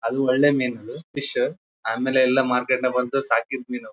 ಅದು ಹಳ್ಳಿ ಮೀನುಗಳು ಫಿಶ್ ಆಮೇಲೆ ಎಲ್ಲ ಮಾರ್ಕೆಟ್ ನಾಗ್ ಬಂದು ಎಲ್ಲ ಸಾಕಿದ್ ಮೀನು.